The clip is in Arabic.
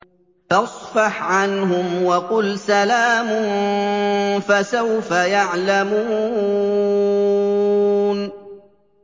فَاصْفَحْ عَنْهُمْ وَقُلْ سَلَامٌ ۚ فَسَوْفَ يَعْلَمُونَ